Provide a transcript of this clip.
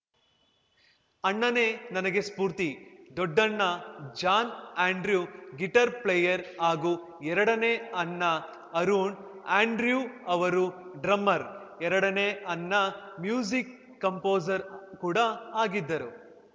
ಅಣ್ಣನೇ ನನಗೆ ಸ್ಫೂರ್ತಿ ದೊಡ್ಡಣ್ಣ ಜಾನ್‌ ಆಂಡ್ರ್ಯು ಗಿಟಾರ್‌ ಪ್ಲೇಯರ್‌ ಹಾಗೂ ಎರಡನೇ ಅಣ್ಣ ಅರುಣ್‌ ಆಂಡ್ರ್ಯು ಅವರು ಡ್ರಮ್ಮರ್‌ ಎರಡನೇ ಅಣ್ಣ ಮ್ಯೂಸಿಕ್‌ ಕಂಪೋಸರ್‌ ಕೂಡ ಆಗಿದ್ದರು